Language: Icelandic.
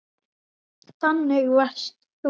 Þannig varst þú.